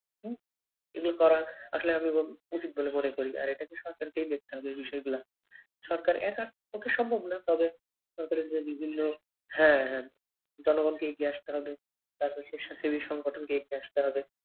এবং তারা আসলে আমি প্রচুর আর এটাকে সরকারকেই দেখতে হবে হিসেব না সরকারের একার পক্ষে সম্ভব না পরে কতরকম বিভিন্ন হ্যাঁ জনগণকে এগিয়ে আসতে হবে এগিয়ে আসতে হবে